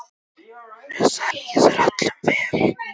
Þar líður öllum vel.